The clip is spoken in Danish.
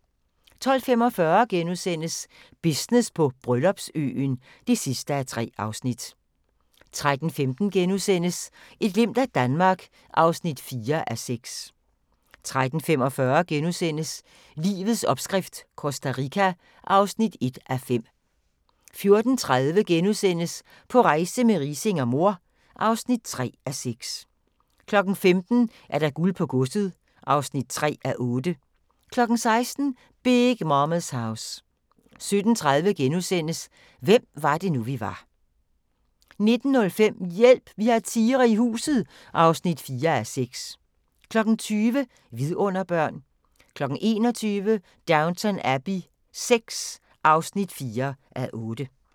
12:45: Business på Bryllupsøen (3:3)* 13:15: Et glimt af Danmark (4:6)* 13:45: Livets opskrift - Costa Rica (1:5)* 14:30: På rejse med Riising og mor (3:6)* 15:00: Guld på godset (3:8) 16:00: Big Momma's House 17:30: Hvem var det nu, vi var * 19:05: Hjælp! Vi har tigre i huset (4:6) 20:00: Vidunderbørn 21:00: Downton Abbey VI (4:8)